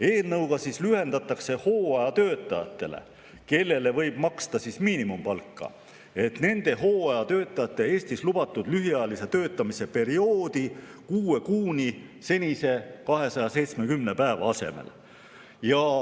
Eelnõuga lühendatakse hooajatöötajate, kellele võib maksta miinimumpalka, Eestis lubatud lühiajalise töötamise perioodi kuue kuuni senise 270 päeva asemel.